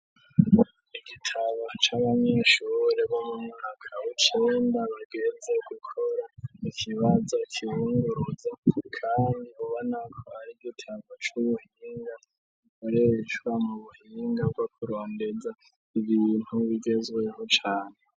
Igitabo cabamyishururene akabucenda genze gukora ikibaza kibunguroza, kandi buba nakwara igitamgo c'ubuhinga urecwa mu buhiningavakuronbeza ibibintu bigezweho cane.